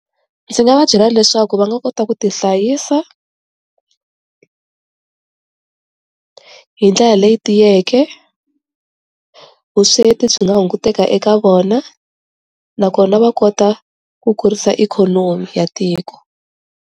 Ndzi nga va byela leswaku va nga kota ku ti hlayisa, hi ndlela leyi tiyeke, vusweti byi nga hunguteka eka vona nakona va kota ku kurisa ikhonomi ya tiko.